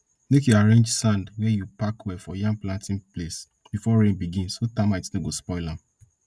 make you arrange sand wey you pack well for yam planting place before rain begin so termites no go spoil am